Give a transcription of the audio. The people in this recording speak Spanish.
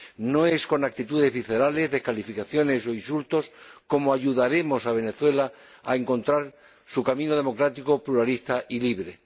No es con actitudes viscerales, descalificaciones o insultos como ayudaremos a Venezuela a encontrar su camino democrático, pluralista y libre.